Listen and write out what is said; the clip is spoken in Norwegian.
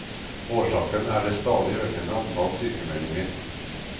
Årsaken er det stadig økende antall sykemeldinger.